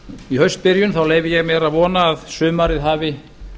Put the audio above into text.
í haustbyrjun leyfi ég mér að vona að sumarið hafi